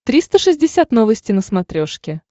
триста шестьдесят новости на смотрешке